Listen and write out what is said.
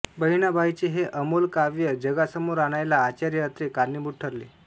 बहिणाबाईंचे हे अमोल काव्य जगासमोर आणायला आचार्य अत्रे कारणीभूत ठरले